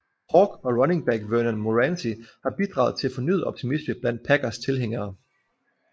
Hawk og running back Vernand Morency har bidraget til fornyet optimisme blandt Packers tilhængere